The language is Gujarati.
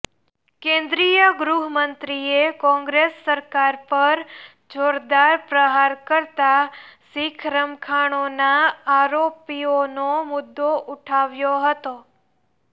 કેન્દ્રીય ગૃહમંત્રીએ કોંગ્રેસ સરકાર પર જોરદાર પ્રહાર કરતા શીખ રમખાણોના આરોપીઓનો મુદ્દો ઉઠાવ્યો હતો